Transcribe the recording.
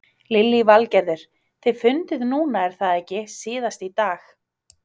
Lillý Valgerður: Þið funduð núna er það ekki síðast í dag?